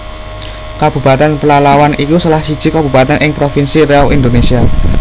Kabupatèn Pelalawan iku salah siji Kabupatèn ing Provinsi Riau Indonésia